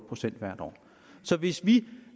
procent hvert år hvis vi